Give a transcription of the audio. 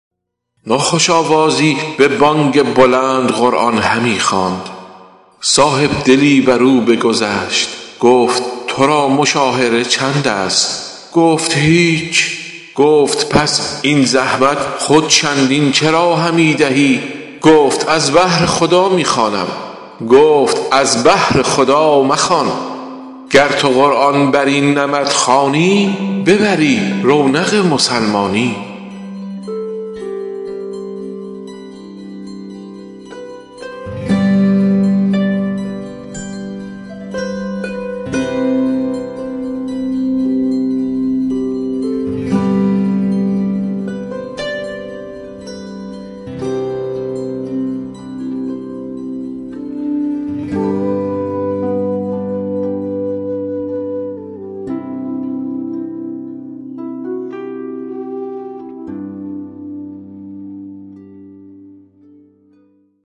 ناخوش آوازی به بانگ بلند قرآن همی خواند صاحبدلی بر او بگذشت گفت تو را مشاهره چند است گفت هیچ گفت پس این زحمت خود چندین چرا همی دهی گفت از بهر خدا می خوانم گفت از بهر خدا مخوان گر تو قرآن بر این نمط خوانی ببری رونق مسلمانی